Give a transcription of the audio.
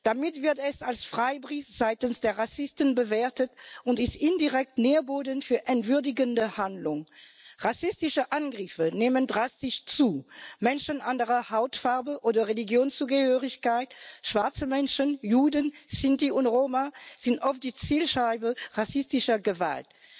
Dies wird als Freibrief seitens der Rassisten bewertet und ist indirekt Nährboden für entwürdigende Handlung. Rassistische Angriffe nehmen drastisch zu. Menschen anderer Hautfarbe oder Religionszugehörigkeit, schwarze Menschen, Juden, Sinti und Roma sind oft die Zielscheibe rassistischer Gewalt.